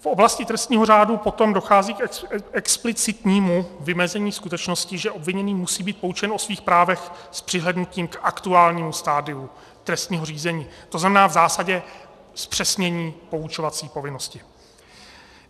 V oblasti trestního řádu potom dochází k explicitnímu vymezení skutečnosti, že obviněný musí být poučen o svých právech s přihlédnutím k aktuálnímu stadiu trestního řízení, to znamená v zásadě zpřesnění poučovací povinnosti.